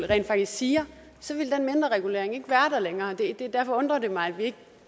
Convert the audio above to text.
rent faktisk siger så ville den mindreregulering ikke være der længere derfor undrer det mig at vi ikke